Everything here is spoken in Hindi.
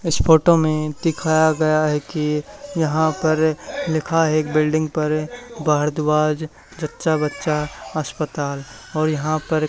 इस फोटो में दिखाया गया है कि यहां पर लिखा है एक बिल्डिंग पर भारद्वाज जच्चा बच्चा अस्पताल और यहां पर--